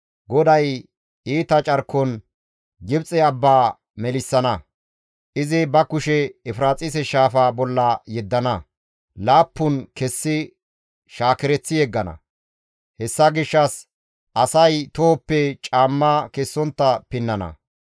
GODAY iita carkon Gibxe abba melissana; izi ba kushe Efiraaxise shaafa bolla yeddana; laappun kessi shaakereththi yeggana; hessa gishshas asay tohoppe caamma kessontta pinnana.